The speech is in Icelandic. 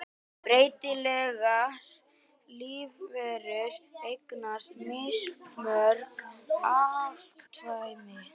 Breytilegar lífverur eignast mismörg afkvæmi.